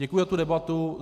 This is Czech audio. Děkuji za tu debatu.